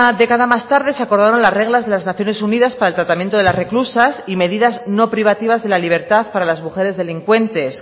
década más tarde se acordaron las reglas de las naciones unidas para el tratamiento de las reclusas y medidas no privativas de la libertad para las mujeres delincuentes